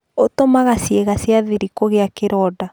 ũtũmaga ciĩga cia thri kũgĩa kĩronda